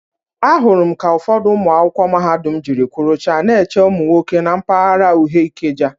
Ahụrụ m ka ụfọdụ ụmụ akwụkwọ mahadum jiri kwọrụcha na-eche ụmụ nwoke na mpaghara uhe Ikeja.